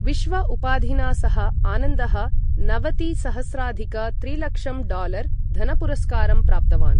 विश्व उपाधिना सह, आनन्दः नवतिसहस्राधिक त्रिलक्षं डालर् धनपुरस्कारं प्राप्तवान्।